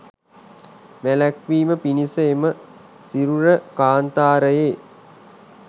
වැළැක්වීම පිණිස එම සිරුර කාන්තාරයේ